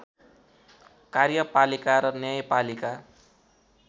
कार्यपालिका र न्यायपालिका